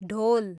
ढोल